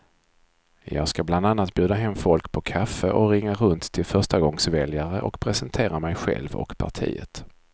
Jag ska bland annat bjuda hem folk på kaffe och ringa runt till förstagångsväljare och presentera mig själv och partiet.